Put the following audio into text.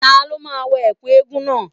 Ta ló máa wọ Ẹ̀kú eégún náà.